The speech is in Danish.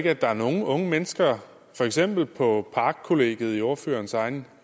er der nogle unge mennesker for eksempel på parkkollegiet i ordførerens egen